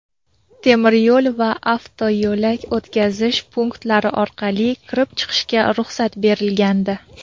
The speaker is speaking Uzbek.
temir yo‘l va avtoyo‘l o‘tkazish punktlari orqali kirib-chiqishga ruxsat berilgandi.